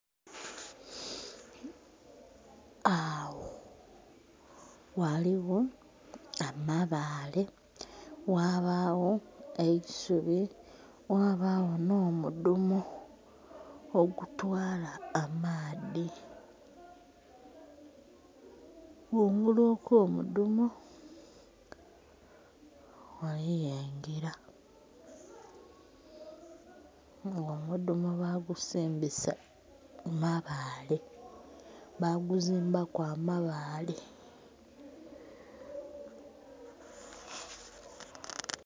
Agho ghaligho amabale, ghabagho eisubi, ghabagho nho mudhumo okutwala amaadhi. Kungulu okwo mudhumo, ghaligho engila nga omudhumo bagusembesa mabale baguzimbaku amabale.